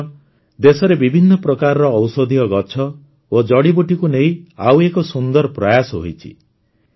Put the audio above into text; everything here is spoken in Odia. ବନ୍ଧୁଗଣ ଦେଶରେ ବିଭିନ୍ନ ପ୍ରକାର ଔଷଧୀୟ ଗଛ ଓ ଜଡ଼ିବୁଟିକୁ ନେଇ ଆଉ ଏକ ସୁନ୍ଦର ପ୍ରୟାସ ହୋଇଛି